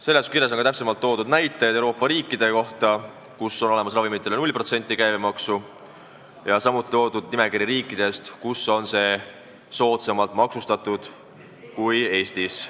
Seletuskirjas on toodud näiteid Euroopa riikide kohta, kus ravimitele kehtib käibemaks 0%, samuti on nimekiri riikidest, kus need on soodsamalt maksustatud kui Eestis.